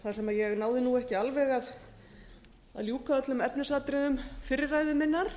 þar sem ég náði nú ekki alveg að ljúka öllum efnisatriðum fyrri ræðu minnar